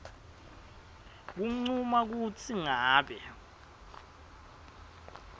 kuncuma kutsi ngabe